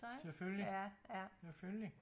Selvfølgelig selvfølgelig